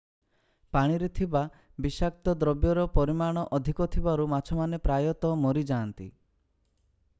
ପାଣିରେ ଥିବା ବିଷାକ୍ତ ଦ୍ରବ୍ୟର ପରିମାଣ ଅଧିକ ଥିବାରୁ ମାଛମାନେ ପ୍ରାୟତଃ ମରିଯାନ୍ତି